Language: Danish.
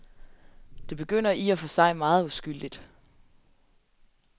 Det begynder i og for sig meget uskyldigt.